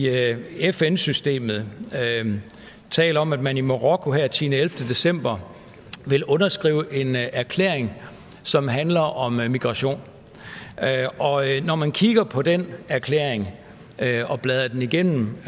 fn systemet taler om at man i marokko her den tiende elleve december vil underskrive en erklæring som handler om migration når man kigger på den erklæring og bladrer den igennem